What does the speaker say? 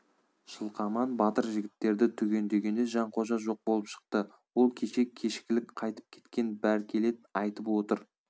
жылқаман батыр жігіттерді түгендегенде жанқожа жоқ болып шықты ол кеше кешкілік қайтып кеткен бәркелет айтып отыр